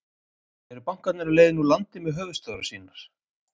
Eru bankarnir á leiðinni úr landi með höfuðstöðvar sínar?